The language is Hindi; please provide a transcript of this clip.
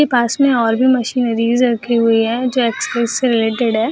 के पास में और भी मशीनरी रखे हुए हैं जो एक्सरसाइज से रिलेटेड है।